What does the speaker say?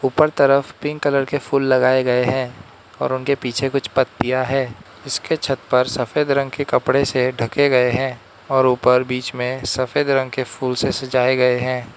ऊपर तरफ pink colour के फूल लगाए गए हैं और उनके पीछे कुछ पत्तियां है उसके छत पर सफेद रंग के कपड़े से ढके गए हैं और ऊपर बीच में सफेद रंग के फूल से सजाए गए हैं।